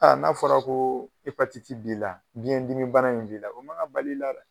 Aa n'a fɔra ko epatiti b'i la ,biɲɛn dimi bana in b'i la o man ka bali la